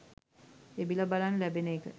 එබිලා බලන්න ලැබෙන එක